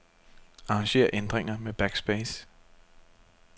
Arranger ændringer med backspace.